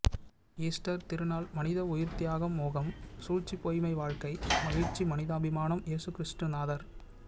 Easter திருநாள் மனித உயிர் தியாகம் மோகம் சூழ்ச்சி பொய்மை வாழ்க்கை மகிழ்ச்சி மனிதாபிமானம் இயேசுக்கிறிஸ்துநாதர்